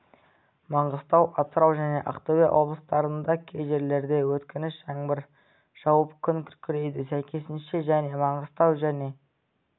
маңғыстау атырау және ақтөбе облыстарында кей жерлерде өткінші жаңбыр жауып күн күркірейді сәйкесінше және маңғыстау және